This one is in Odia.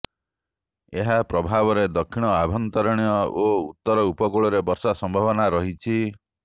ଏହା ପ୍ରଭାବରେ ଦକ୍ଷିଣ ଆଭ୍ୟନ୍ତରୀଣ ଓ ଉତ୍ତର ଉପକୂଳରେ ବର୍ଷା ସମ୍ଭାବନା ରହିଛି